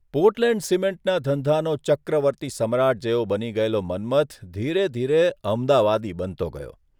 Portland સિમેન્ટના ધંધાનો ચક્રવર્તી સમ્રાટ જેવો બની ગયેલો મન્મથ ધીરે ધીરે અમદાવાદી બનતો ગયો.